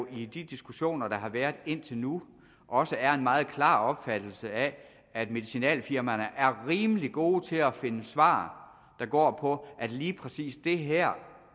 i de diskussioner der har været indtil nu også er en meget klar opfattelse af at medicinalfirmaerne er rimelig gode til at finde svar der går på at lige præcis det her